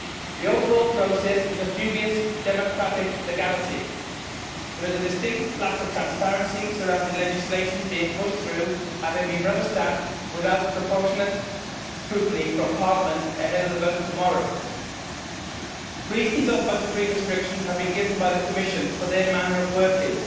The overall process is of dubious democratic legality. There is a distinct lack of transparency surrounding legislation being pushed through having been rubber stamped without proportionate scrutiny from Parliament ahead of the vote tomorrow. Reasons of budgetary restrictions have been given by the Commission for their manner of working.